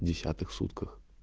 десятых сутках